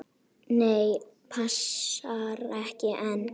Nei, passar ekki enn!